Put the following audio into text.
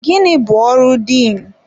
Gịnị bụ ọrụ Diin?